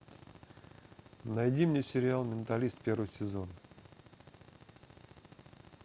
найди мне сериал менталист первый сезон